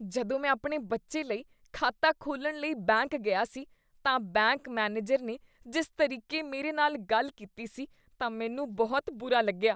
ਜਦੋਂ ਮੈਂ ਆਪਣੇ ਬੱਚੇ ਲਈ ਖਾਤਾ ਖੋਲ੍ਹਣ ਲਈ ਬੈਂਕ ਗਿਆ ਸੀ ਤਾਂ ਬੈਂਕ ਮੈਨੇਜਰ ਨੇ ਜਿਸ ਤਰੀਕੇ ਮੇਰੇ ਨਾਲ ਗੱਲ ਕੀਤੀ ਸੀ ਤਾਂ ਮੈਨੂੰ ਬਹੁਤ ਬੁਰਾ ਲੱਗਿਆ।